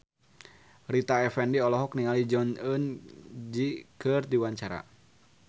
Rita Effendy olohok ningali Jong Eun Ji keur diwawancara